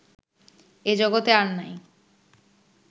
এ জগতে আর নাই